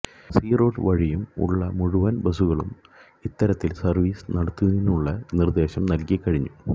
C road വഴിയും ഉള്ള മുഴുവൻ ബസുകളിലും ഇത്തരത്തിൽ സർവ്വീസ് നടത്തുന്നതിനുള്ള നിർദ്ദേശം നൽകി കഴിഞ്ഞു